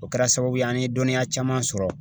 O kɛra sababu ye an ye dɔnniya caman sɔrɔ